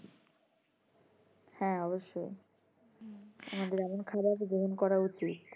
হ্যাঁ অবশ্যই আমাদের এমন খাবার গ্রহণ করা উচিত